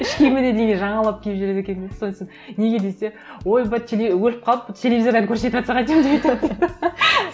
іш киіміне дейін жаңалап киіп жүреді екен сосын неге десе ойбай өліп қалып телевизордан көрсетіватса қайтемін деп айтады дейді